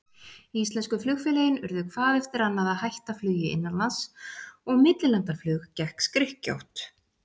Íslensku flugfélögin urðu hvað eftir annað að hætta flugi innanlands, og millilandaflug gekk skrykkjótt.